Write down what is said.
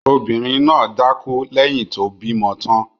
Obìnrin náà dákú lẹ́yìn tí ó bímọ tán.